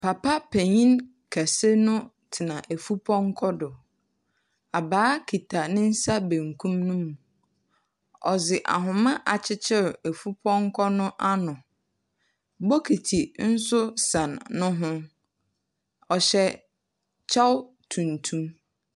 Papa penyin kɛse no tsena afupɔnkɔ do. Abaa kita ne nsa benkum no mu. Ɔdze ahoma akyekyer afupɔnkɔ no ano. Bokiti nso sɛn no ho. Ɔhyɛ kyɛw tuntum.